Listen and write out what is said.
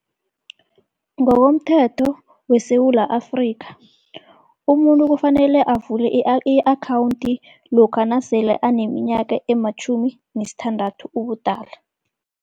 Ngokomthetho weSewula Afrikha, umuntu kufanele avule i-akhawunti lokha nasele aneminyaka ematjhumi nesithandathu ubudala.